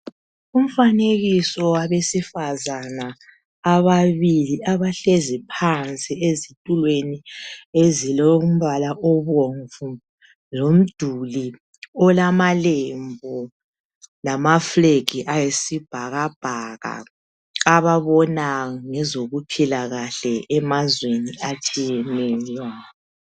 Umfanekiso wabesifazana ababili abahlezi phansi ezitulweni ezilombala obomvu lomduli olamalembu lama fulegi ayisibhakabhaka ababona ngezokuphila kahle emazweni atshiyeneyo.